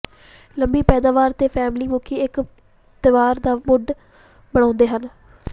ਲੰਮੀ ਪੈਦਾਵਾਰ ਤੇ ਫਲੈਮੀ ਮੁਖੀ ਇੱਕ ਤਿਉਹਾਰ ਦਾ ਮੂਡ ਬਣਾਉਂਦੇ ਹਨ